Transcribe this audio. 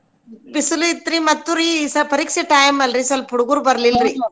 ಬಿಸಲ್ ಇತ್ರಿ ಮತ್ತ್ ಮತ್ತೂ ರ್ರೀ ಪರೀಕ್ಷೆ time ಅಲ್ಲರ್ರಿ ಸ್ವಲ್ಪ ಹುಡುಗೂರ್ ಬರ್ಲಿಲ್ಲ .